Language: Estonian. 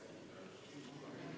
Istungi lõpp kell 11.54.